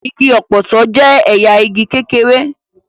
Igi ọ̀pọ̀tọ́ jẹ́ ẹ̀yà igi kékeré.